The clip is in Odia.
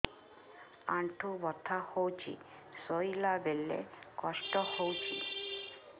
ଅଣ୍ଟା ବଥା ହଉଛି ଶୋଇଲା ବେଳେ କଷ୍ଟ ହଉଛି